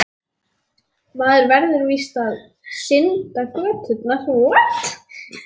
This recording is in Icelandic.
Maður verður víst að mæla göturnar.